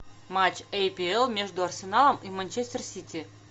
матч апл между арсеналом и манчестер сити